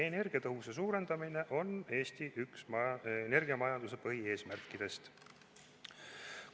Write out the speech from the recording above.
Energiatõhususe suurendamine on üks Eesti energiamajanduse põhieesmärkidest.